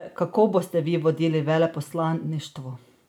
Kako boste vi vodili veleposlaništvo?